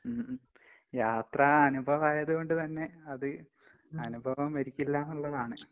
ഉം ഉം. യാത്ര അനുഭവായത് കൊണ്ട് തന്നെ അത് അനുഭവം മരിക്കില്ലാന്നിള്ളതാണ്.